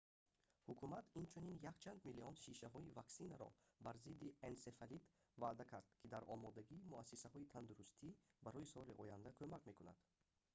ҳукумат инчунин якчанд миллион шишаҳои ваксинаро бар зидди энсефалит ваъда кард ки дар омодагии муассисаҳои тандурустӣ барои соли оянда кумак мекунад